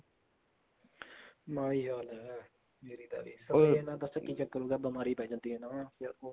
ਮਾੜਾ ਹੀ ਹਾਲ ਹੈ ਜੀਰੀ ਦਾ ਵੀ ਸ੍ਪ੍ਰੇਹਾ ਪਤਾ ਕੀ ਚੱਕਰ ਹੈ ਬਿਮਾਰੀ ਪੈ ਜਾਂਦੀ ਹੈ ਇਹਨਾ ਨਾਲ